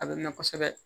A bɛ na kosɛbɛ